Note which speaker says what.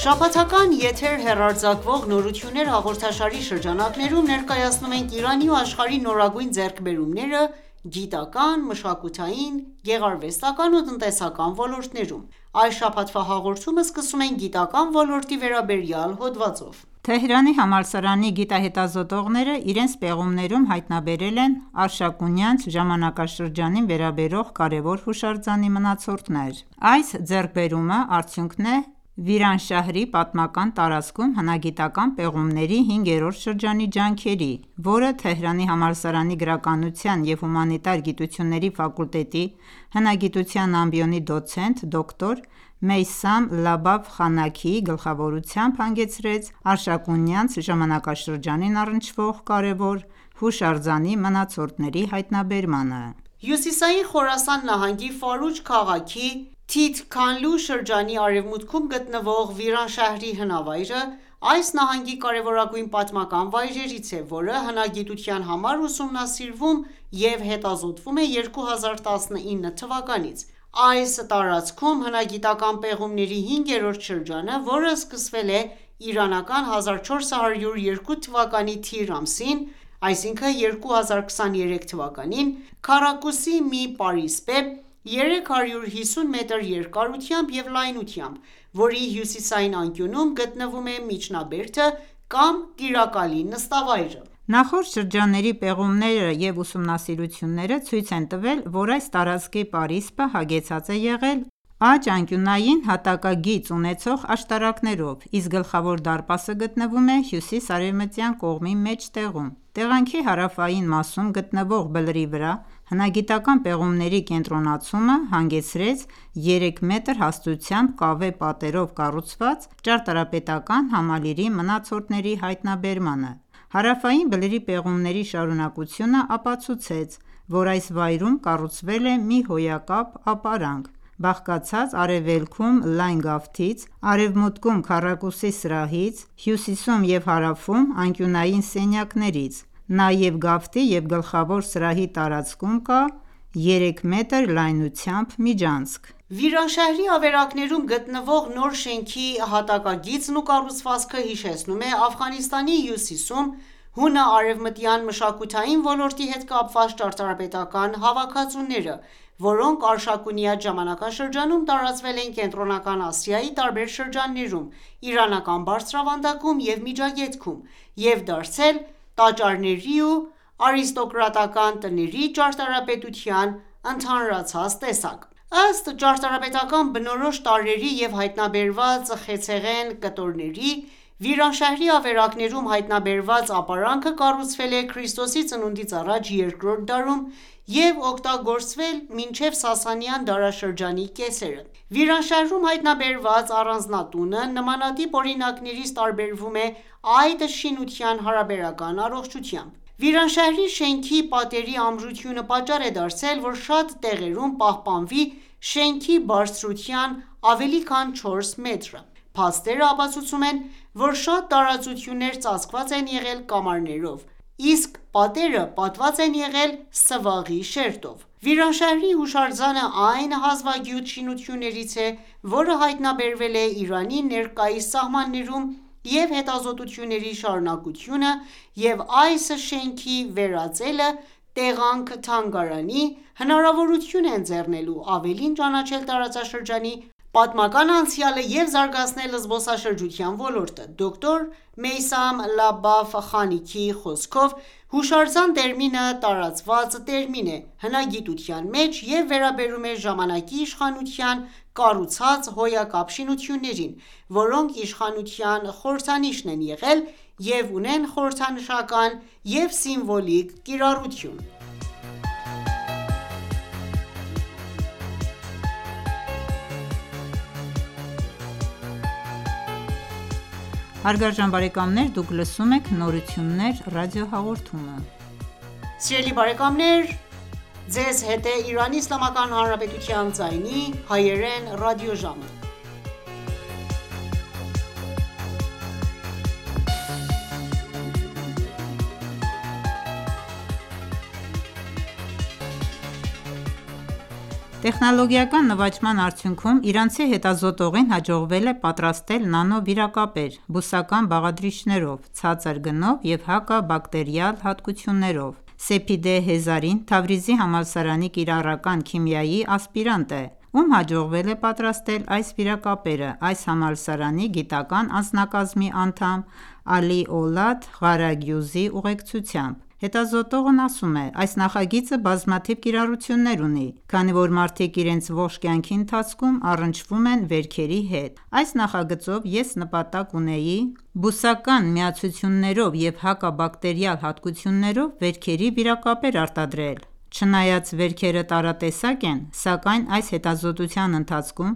Speaker 1: Շաբաթական եթեր հեռարձակվող «Նորություններ»հաղորդաշարի շրջանակներում ,ներկայացնում ենք Իրանի ու աշխարհի նորագույն ձեռքբերումները՝գիտական, մշակութային ,գեղարվեստական ու տնտեսական ոլորտներում: Այս շաբաթվա հաղորդումը սկսում ենք գիտական ոլորտի վերաբերյալ հոդվածով:
Speaker 2: Թեհրանի համալսարանի գիտահետազոտողները իրենց պեղումներում հայտնաբերել են արշակունյաց ժամանակաշրջանին վերաբերող կարեւոր հուշարձանի մնացորդներ։ Այս ձեռքբերումը արդյունքն է Վիրանշահրի պատմական տարածքում հնագիտական պեղումների հինգերորդ շրջանի ջանքերի, որը Թեհրանի համալսարանի գրականության եւ հումանիտար գիտությունների ֆակուլտետի հնագիտության ամբիոնի դոցենտ դոկտ. Մեյսամ Լաբաֆ Խանաքիի գլխավորությամբ հանգեցրեց արշակունյաց ժամանակաշրջանին առնչվող կարևոր հուշարձանի մնացորդների հայտնաբերմանը:
Speaker 1: Հյուսիսային Խորասան նահանգի Ֆարուջ քաղաքի Թիթքանլու շրջանի արևմուտքում գտնվող Վիրանշահրի հնավայրը այս նահանգի կարևորագույն պատմական վայրերից է, որը հնագիտության համար ուսումնասիրվում և հետազոտվում է 2019 թվականից։ Այս տարածքում հնագիտական պեղումների հինգերորդ շրջանը, որը սկսվել է 1402 թվականի թիր ամսին(2023 թ.), քառակուսի մի պարիսպ է՝ 350 մետր երկարությամբ և լայնությամբ, որի հյուսիսային անկյունում գտնվում է միջնաբերդը կամ տիրակալի նստավայրը։
Speaker 2: Նախորդ շրջանների պեղումներն ու ուսումնասիրությունները ցույց են տվել, որ այս տարածքի պարիսպը հագեցած է եղել աջ անկյունային հատակագի ունեցող աշտարակներով, իսկ գլխավոր դարպասը գտնվում է հյուսիս-արևմտյան կողմի մեջտեղում։ Տեղանքի հարավային մասում գտնվող բլրի վրա հնագիտական պեղումների կենտրոնացումը հանգեցրեց 3 մետր հաստությամբ կավե պատերով կառուցված ճարտարապետական համալիրի մնացորդների հայտնաբերմանը: Հարավային բլրի պեղումների շարունակությունը ապացուցեց, որ այս վայրում կառուցվել է մի հոյակապ ապարանք՝ բաղկացած արևելքում լայն գավթից, արևմուտքում՝ քառակուսի սրահից, հյուսիսում և հարավում անկյունային սենյակներից։ Նաև գավթի և գլխավոր սրահի տարածքում կա երեք մետր լայնությամբ միջանցք։
Speaker 1: Վիրանշահրի ավերակներում գտնվող նոր շենքի հատակագիծն ու կառուցվածքը հիշեցնում է Աֆղանստանի հյուսիսում հունա-արևմտյան մշակութային ոլորտի հետ կապված ճարտարապետական հավաքածուները, որոնք Արշակունյաց ժամանակաշրջանում տարածվել են Կենտրոնական Ասիայի տարբեր շրջաններում, Իրանական բարձրավանդակում և Միջագետքում, և դարձել տաճարների և արիստոկրատական տների ճարտարապետության ընդհանրացած տեսակ: Ըստ ճարտարապետական բնորոշ տարրերի և հայտնաբերված խեցեղեն կտորների՝ Վիրանշահրի ավերակներում հայտնաբերված ապարանքը, կառուցվել է ՔԾԱ 2-րդ դարում և օգտագործվել մինչև Սասանյան դարաշրջանի կեսերը։ Վիրանշահրում հայտնաբերված առանձնատունը նմանատիպ օրինակներից տարբեվրում է այդ շինության հարաբերական առողջությամբ։ Վիրանշահրի շենքի պատերի ամրությունը պատճառ է դարձել, որ շատ տեղերում պահպանվի շենքի բարձրության ավելի քան 4 մետրը։ Փաստերը ապացուցում են, որ շատ տարածություններ ծածկված են եղել կամարներով, իսկ պատերը պատված են եղել սվաղի շերտով։ Վիրանշահրի հուշարձանը այն հազվագյուտ շինություններից է, որը հայտնաբերվել է Իրանի ներկայիս սահմաններում, և հետազոտությունների շարունակությունը և այս շենքի վերածելը տեղանք-թանգարանի, հնարավորություն է ընձեռնելու ավելին ճանաչել տարածաշրջանի պատմական անցյալը և զարգացնել զբոսաշրջության ոլորտը։ Դոկտոր Մեյսամ Լաբաֆ Խանիքիի խոսքով, «հուշարձան» տերմինը տարածված տերմին է հնագիտության մեջ և վերաբերում է ժամանակի իշխանության կառուցած հոյակապ շինություններին, որոնք իշխանության խորհրդանիշ են եղել և ունեն խորհրդանշական և սիմվոլիկ կիրառություն։
Speaker 2: Իրանցի հետազոտողին հաջողվել է պատրաստել նանո վիրակապեր՝ բուսական բաղադրիչներով, ցածր գնով և հակաբակտերիալ հատկություններով: Սեփիդե Հեզարին, Թավրիզի համալսարանի կիրառական քիմիայի ասպիրանտ է, ում հաջողվել է պատրաստել այս վիրակապերը այս համալսարանի գիտական անձնակազմի անդամ Ալի Օլադ Ղարագյուզի ուղեկցությամբ: Հետազոտողն ասում է,- «Այս նախագիծը բազմաթիվ կիրառություններ ունի, քանի որ մարդիկ իրենց ողջ կյանքի ընթացքում առնչվում են վերքերի հետ:Այս նախագծով ես նպատակ ունեի բուսական միացություններով և հակաբակտերիալ հատկություններով վերքերի վիրակապեր արտադրել: Չնայած վերքերը տարատեսակ են ,սակայն այս հետազոտության ընթացքում